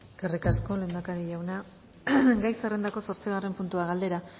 eskerrik asko lehendakari jauna gai zerrendako zortzigarren puntua galdera